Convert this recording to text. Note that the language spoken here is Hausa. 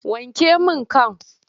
Wanke min kan!